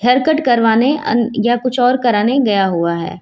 Haircut करवाने अन या कुछ और कराने गया हुआ है।